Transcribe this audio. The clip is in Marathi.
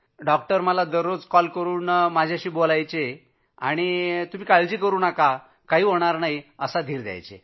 दर रोज मला कॉल करून माझ्याशी बोलत होते आणि काही होणार नाही असा धीर देत होते